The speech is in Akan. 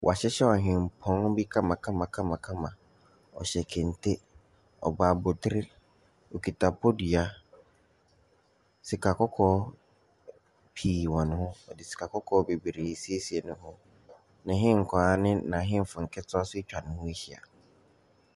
Wɔahyehyɛ ɔhempɔn bi kamakamakamakama. Ↄhyɛ kente, ɔbɔ abotire, ɔkita bodua. Sikakɔkɔɔ pii wɔ ne ho. Wɔde sikakɔkɔɔ bebiree siesie ne ho. N’ahenkwaa ne n’ahemfo nketewa nso atwa ne ho ahyia.